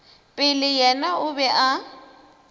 pele yena o be a